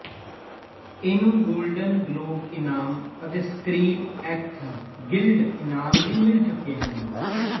ਇਹਨੂੰ golden globe ਇਨਾਮ ਅਤੇ ਸਕਰੀਨ ਐਕਟਰਜ਼ ਗਿਲਡ ਇਨਾਮ ਵੀ ਮਿਲ ਚੁੱਕੇ ਹਨ